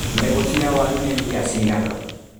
Mbegũ cia waru nĩ mbia cigana.